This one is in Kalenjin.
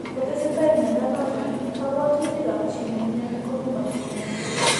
Kotesetai mnyando noton, kabwatutiikap chii ne mnyoni kong'emakse nia.